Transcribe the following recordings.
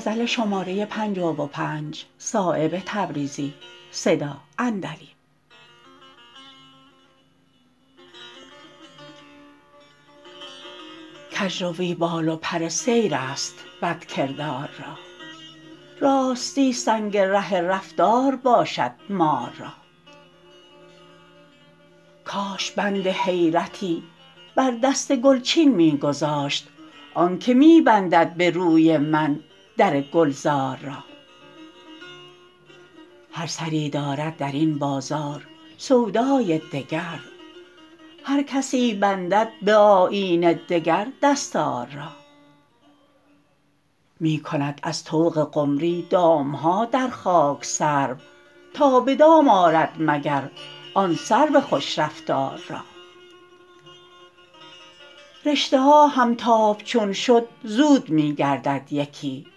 کجروی بال و پر سیرست بد کردار را راستی سنگ ره رفتار باشد مار را کاش بند حیرتی بر دست گلچین می گذاشت آن که می بندد به روی من در گلزار را هر سری دارد درین بازار سودای دگر هر کسی بندد به آیین دگر دستار را می کند از طوق قمری دام ها در خاک سرو تا به دام آرد مگر آن سرو خوش رفتار را رشته ها همتاب چون شد زود می گردد یکی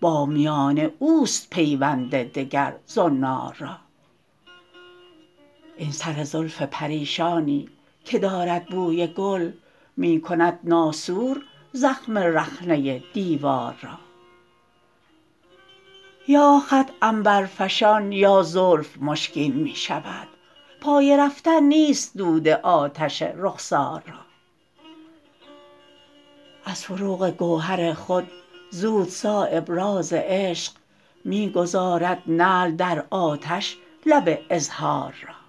با میان اوست پیوند دگر زنار را این سر زلف پریشانی که دارد بوی گل می کند ناسور زخم رخنه دیوار را یا خط عنبرفشان یا زلف مشکین می شود پای رفتن نیست دود آتش رخسار را از فروغ گوهر خود زود صایب راز عشق می گذارد نعل در آتش لب اظهار را